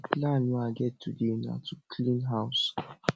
the plan wey i get today na to clean house